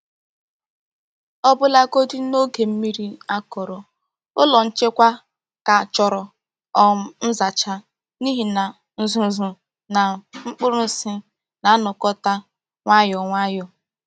Ọbụlagodi n’oge mmiri akọrọ, ụlọ nchekwa ka chọrọ um nzacha n’ihi na uzuzu na mkpụrụ nsị na-anakọta nwayọ nwayọ.